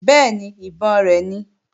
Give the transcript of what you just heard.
Bẹ́ẹ̀ni, ìbọn rẹ̀ ni